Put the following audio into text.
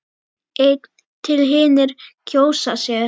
einn til hinir kjósa sér.